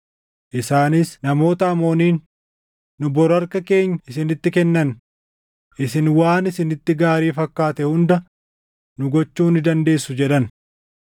Isaanis namoota Amooniin, “Nu bor harka keenya isinitti kennanna; isin waan isinitti gaarii fakkaate hunda nu gochuu ni dandeessu” jedhan.